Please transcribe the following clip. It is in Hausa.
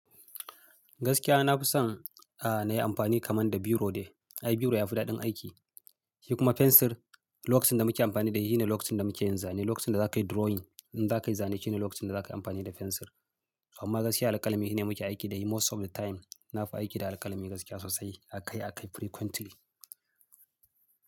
Gaskiya na fi son, a, na yi amfani kaman da biro ne. Ai biro ya fi daɗin aiki. Shi kuma fensir, lokacin da muke amfani da shi ne lokacin da muke yin zane. Lokacin da za ka yi drawing, in za ka yi zane shine lokacin da za ka yi amfani da fensir. Amma gaskiya alƙalami shine muke aiki da shi most of the time. Na fi aiki da alƙalami gaskiya sosai, akai-akai frequently.